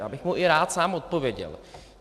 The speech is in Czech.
Já bych mu i rád sám odpověděl.